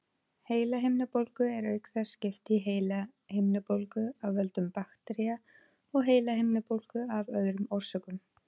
Heilahimnubólgu er auk þess skipt í heilahimnubólgu af völdum baktería og heilahimnubólgu af öðrum orsökum.